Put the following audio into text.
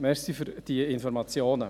Danke für diese Informationen.